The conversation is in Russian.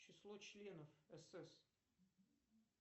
число членов сс